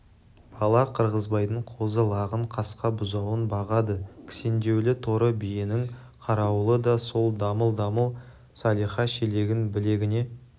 бала қырғызбайдың қозы-лағын қасқа бұзауын бағады кісендеулі торы биенің қарауылы да сол дамыл-дамыл салиха шелегін білегіне